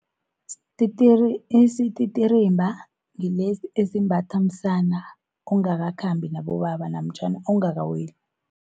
Isititirimba ngilesi esimbatha msana, ongakakhambi nabobaba namtjhana ongakaweli.